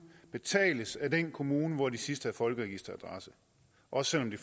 betales af den kommune hvor de sidst havde folkeregisteradresse også selv om de